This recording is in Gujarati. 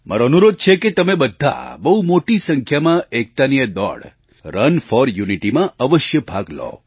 મારો અનુરોધ છે કે તમે બધાં બહુ મોટી સંખ્યામાં એકતાની આ દોડ રન ફોર યુનિટીમાં અવશ્ય ભાગ લો